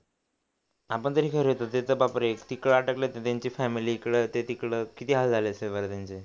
आपण तरी ते तर बाप रे तिकडं अटकले होते त्यांची फमिली इकडं ते तिकडं किती हाल झाले असतील बरं त्यांचे